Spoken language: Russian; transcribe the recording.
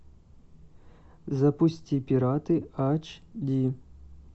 запусти пираты аш ди